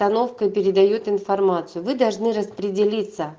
постанока передаёт информацию вы должны распределиться